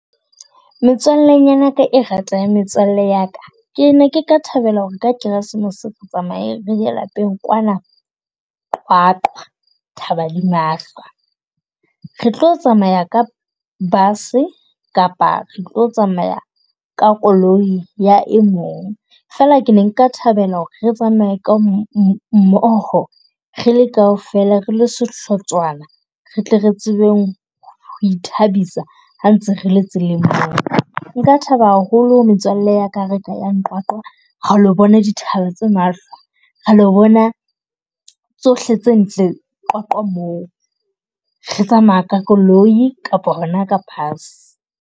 Metswallenyana ya ka e ratang metswalle ya ka. Ke ne ke ka thabela ho re ka keresemose re tsamaye re ye lapeng kwana Qwaqwa thaba di mahlwa. Re tlo tsamaya ka bus-e kapa re tlo tsamaya ka koloi ya e mong. Fela ke ne nka thabela ho re re tsamaye ka mmoho re le kaofela re lo sehlotswana, re tle re tsebeng ho ithabisa ha ntse re le tseleng moo. Nka thaba haholo metswalle ya ka re ka yang Qwaqwa, re lo bona dithaba tsa mahlwa, ra lo bona tsohle tse ntle Qwaqwa moo. Re tsamaya ka koloi kapa hona ka bus.